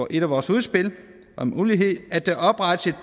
et af vores udspil om ulighed at der oprettes